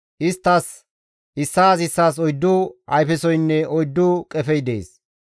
Isttas issaas issaas oyddu ayfesoynne oyddu qefey dees.